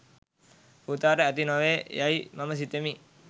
පුතාට ඇති නොවේ යයි මම සිතමි